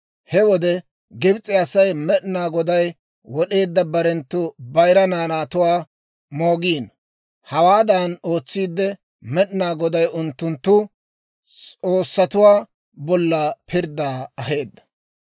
He wode Gibs'e Asay Med'inaa Goday wod'eedda barenttu bayira naanatuwaa moogiino. Hawaadan ootsiide, Med'inaa Goday unttunttu s'oossatuwaa bolla pirddaa aheedda.